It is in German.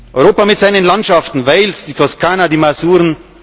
lieben? Europa mit seinen Landschaften Wales, die Toskana, die